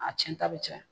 A cɛnta bɛ caya